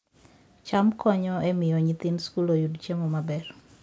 cham konyo e miyo nyithind skul oyud chiemo maber